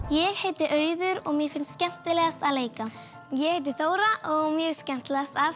ég heiti Auður og mér finnst skemmtilegast að leika ég heiti Þóra og mér finnst skemmtilegast að